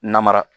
Namara